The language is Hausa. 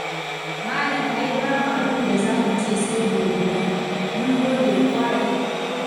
Malam ai babu abin da za mu ce sai godiya, mun gode ƙwarai.